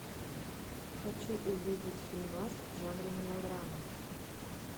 хочу увидеть фильмас в жанре мелодрама